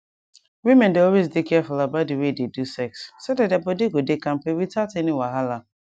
women dey always dey careful about the way they do sex so that their body go dey kampe without any wahala